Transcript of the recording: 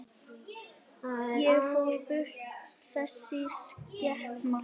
Og fór burt, þessi skepna.